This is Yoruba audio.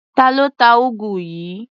Ta ló ta úgú yìí?